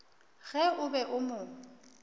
ge o be o mo